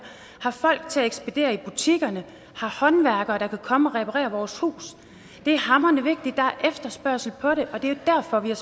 har folk til at ekspedere i butikkerne har håndværkere der kan komme og reparere vores hus det er hamrende vigtigt der er efterspørgsel på det og det er derfor vi er